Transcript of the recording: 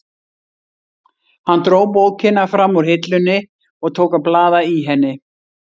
Hann dró bókina fram úr hillunni og tók að blaða í henni.